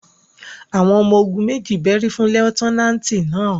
àwọn ọmọ-ogun meji bẹri fun Lutenanti náa